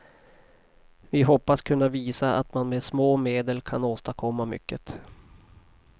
Vi hoppas kunna visa att man med små medel kan åstadkomma mycket.